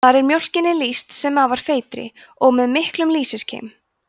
þar er mjólkinni lýst sem afar feitri og með miklum lýsiskeim